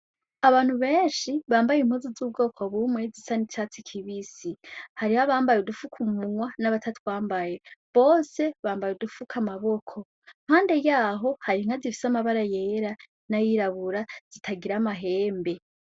Abantu benshi bambaye impuzu z'ubwoko bumwe zisa n'icatsi kibisi. Hariho abambaye udufuka umunwa n'abatatwambaye. Bose bambaye udufuka amaboko. Impande yaho hari inka zifise amabara yera n'ayirabura zitagira amahembe.